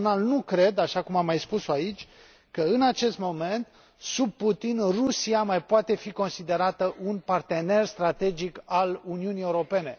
Personal nu cred, așa cum am mai spus o aici, că, în acest moment, sub Putin, Rusia mai poate fi considerată un partener strategic al Uniunii Europene.